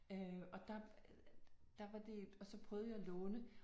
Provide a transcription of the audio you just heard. Øh og der der var det og så prøvede jeg at låne